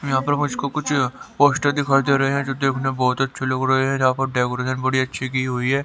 यहां पर मुझको कुछ पोस्टर दिखाई दे रहे हैं जो देखने बहुत अच्छे लग रहे हैं जहां पर डेकोरेशन बड़ी अच्छी की हुई है।